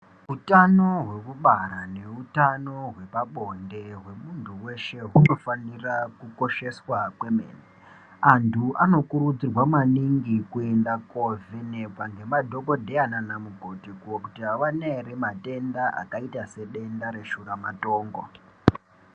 Hutano hwekubara nehutano hwepabonde hwemuntu weshe unofanira kukosheswa kwemene antu anokurudzirwa maningi kuenda kovhenekwa nemadhokoteya nana mukoti koti avana here matenda akaita sedenda reshura matongo.